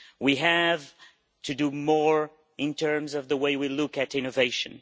We have to do more in terms of the way we look at innovation.